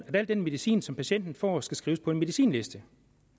at al den medicin som patienten får skal skrives på en medicinliste